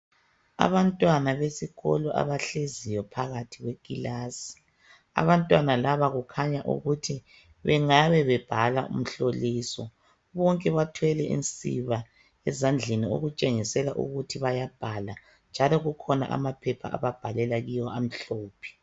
Abantwana besikolo abahleziyo phakathi kwekilasi, abantwana laba kukhanya ukuthi bengabe bebhala umhloliso .Bonke bathwele insiba ezandleni okutshengisela ukuthi bayabhala njalo kukhona amaphepha ababhalela kiwo amhlophe.